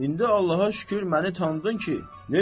indi Allaha şükür məni tanıdın ki.